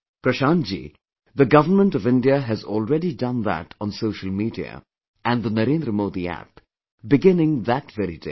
Prashant ji, the Government of India has already done that on social media and the Narendra Modi App, beginning that very day